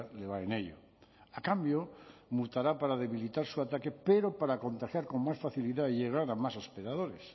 le va en ello a cambio mutará para debilitar su ataque pero para contagiar con más facilidad y llegar a más hospedadores